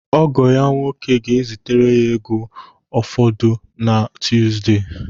Ọgọ ya nwoke ga-ezitere ego ụfọdụ na Tuuzde.